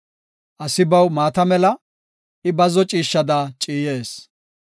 Asi baw maata mela; I bazzo ciishshada ciyees.